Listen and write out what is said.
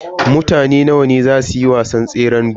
Mutane nawa ne a zasu yi wasan tseran gudun.